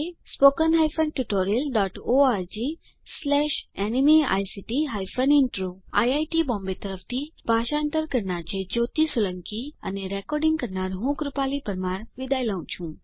spoken hyphen tutorial dot org slash ન્મેઇક્ટ hyphen intro આ script માટે ફાળો જ્યોતી સોલંકી દ્વારા આપવામાં આવ્યો છે iit બોમ્બે તરફથી સ્પોકન ટ્યુટોરીયલ પ્રોજેક્ટ માટે ભાષાંતર કરનાર હું જ્યોતી સોલંકી વિદાય લઉં છું